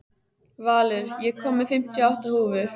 Valur, ég kom með fimmtíu og átta húfur!